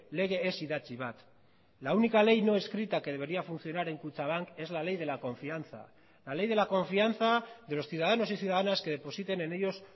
lege ez idatzi bat la única ley no escrita que debería funcionar en kutxabank es la ley de la confianza la ley de la confianza de los ciudadanos y ciudadanas que depositen en ellos